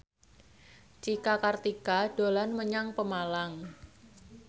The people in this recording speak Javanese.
Cika Kartika dolan menyang Pemalang